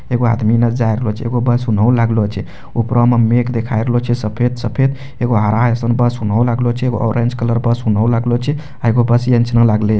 एगो आदमी नजर आ रहलो छै एगो बस उन्हों लागलो छै ऊपरा मे मेघ देखाए रहलो छै सफेद-सफेद एगो हरा ऐसनो बस उन्हों लगलो छै एगो ऑरेंज बस उन्हों लगलो छै --